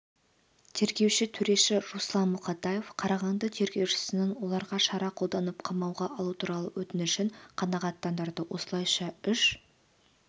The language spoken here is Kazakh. тергеуші төреші руслан мұқатаев қарағанды тергеушісінің оларға шара қолданып қамауға алу туралы өтінішін қанағаттандырды осылайша үш